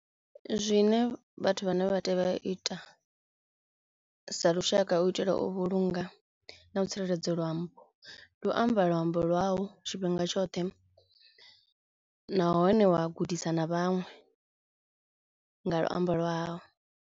Zwine vhathu vhane vha tea u ita sa lushaka hu u itela u vhulunga na u tsireledza luambo, ndi u amba luambo lwau tshifhinga tshoṱhe nahone wa gudisa na vhaṅwe nga luambo lwau.